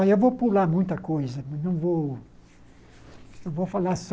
Olha, eu vou pular muita coisa, mas não vou vou falar só.